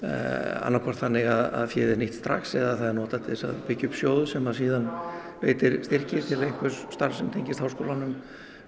annað hvort þannig að féið er nýtt strax eða það er notað til að byggja upp sjóð sem síðan veitir styrki til einhvers starfs sem tengist Háskólanum